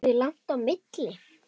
Er því langt á milli.